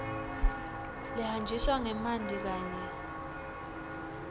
lehanjiswa ngemanti kanye